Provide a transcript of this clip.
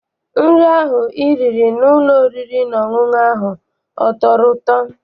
Nri ahụ I riri n'ụlọ oriri na ọṅụṅụ ahụ a tọrọ ụtọ?